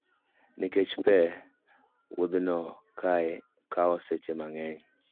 Nikech pe, wuodhno kawo seche mang'eny.